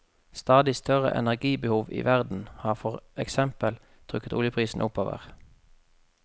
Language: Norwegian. Stadig større energibehov i verden har for eksempel trukket oljeprisen oppover.